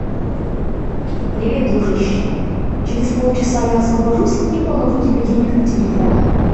привет дружище через пол часа я освобожусь и положу тебе денег на телефон